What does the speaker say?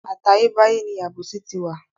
Àtayé báyé ni àbòsí ti wà.